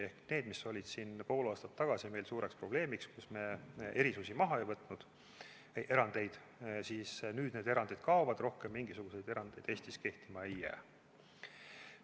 Ehk see, kui pool aastat tagasi oli suureks probleemiks, et me erandeid maha ei võtnud, siis nüüd need erandid kaovad, rohkem mingisuguseid erandeid Eestis kehtima ei jää.